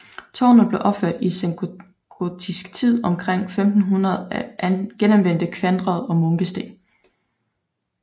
Tårnet blev opført i sengotisk tid omkring 1500 af genanvendte kvadre og munkesten